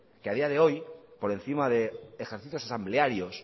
que a día de hoy por encima de ejercicios asamblearios